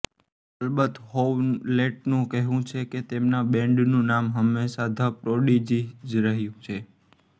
અલબત્ત હોવલેટનું કહેવું છે કે તેમના બૅન્ડનું નામ હંમેશાં ધ પ્રોડિજિ જ રહ્યું છે